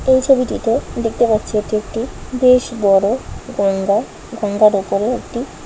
এই ছবিটিতে দেখতে পাচ্ছি এটি একটি বেশ বড়ো গঙ্গা গঙ্গার উপরে একটি--